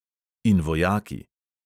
In vojaki.